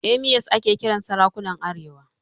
Emirs ake kiran sarakunan arewa.